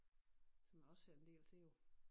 Som jeg også ser en del til jo